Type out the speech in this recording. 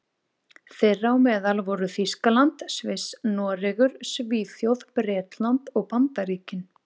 Þeirra á meðal voru Þýskaland, Sviss, Noregur, Svíþjóð, Bretland og Bandaríkin.